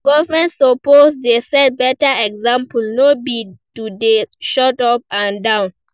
Government suppose dey set beta example, no be to dey shout up and down.